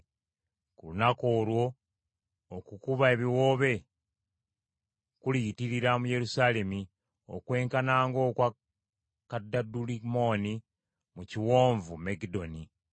Ku lunaku olwo okukuba ebiwoobe kuliyitirira mu Yerusaalemi okwenkana ng’okwa Kadadulimmoni mu kiwonvu Megiddoni.